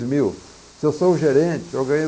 mil. Se eu sou gerente, eu ganho